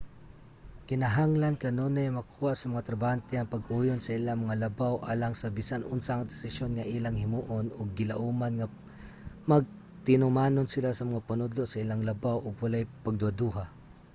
kinahanglan kanunay makuha sa mga trabahante ang pag-uyon sa ilang mga labaw alang sa bisan unsang desisyon nga ilang himuon ug gilauman nga magtinumanon sila sa mga panudlo sa ilang labaw ug walay pagduhaduha